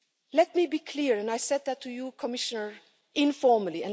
Let me be clear, and I said this to you, Commissioner, informally.